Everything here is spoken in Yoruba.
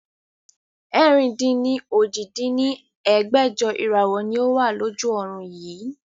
ẹ̀rin-dín-ní-ojì dín ní ẹgbẹ́jọ Ìràwọ́ ni ó wà lójú ọrùn yii